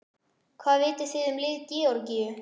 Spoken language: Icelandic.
Hvað vitið þið um lið Georgíu?